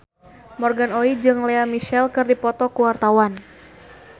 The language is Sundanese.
Morgan Oey jeung Lea Michele keur dipoto ku wartawan